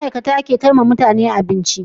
Ma'ikata ke kaiwa mutane abinci